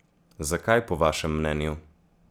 Zakaj po vašem mnenju?